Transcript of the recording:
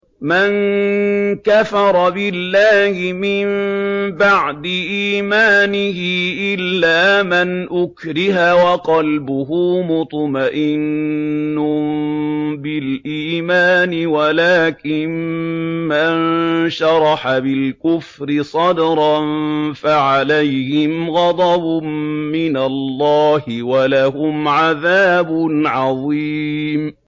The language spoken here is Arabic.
مَن كَفَرَ بِاللَّهِ مِن بَعْدِ إِيمَانِهِ إِلَّا مَنْ أُكْرِهَ وَقَلْبُهُ مُطْمَئِنٌّ بِالْإِيمَانِ وَلَٰكِن مَّن شَرَحَ بِالْكُفْرِ صَدْرًا فَعَلَيْهِمْ غَضَبٌ مِّنَ اللَّهِ وَلَهُمْ عَذَابٌ عَظِيمٌ